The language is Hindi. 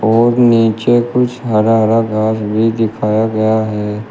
और नीचे कुछ हरा हरा घास भी दिखाया गया है।